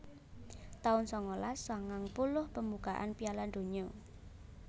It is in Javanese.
taun sangalas sangang puluh Pembukaan Piala Donya